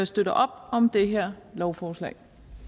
støtter op om det her lovforslag